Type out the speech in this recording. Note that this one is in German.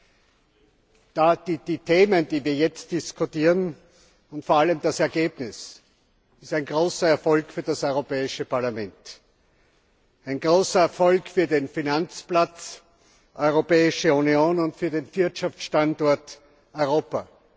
Das Dossier, das wir jetzt diskutieren, und vor allem das erzielte Ergebnis, ist ein großer Erfolg für das Europäische Parlament, ein großer Erfolg für den Finanzplatz Europäische Union und für den Wirtschaftsstandort Europa.